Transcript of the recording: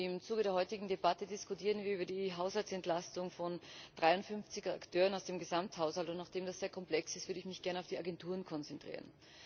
Im Zuge der heutigen Debatte diskutieren wir über die Haushaltsentlastung von 53 Akteuren aus dem Gesamthaushalt. Nachdem das sehr komplex ist, würde ich mich gerne auf die Agenturen konzentrieren.